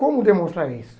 Como demonstrar isso?